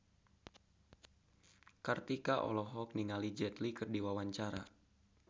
Kartika Putri olohok ningali Jet Li keur diwawancara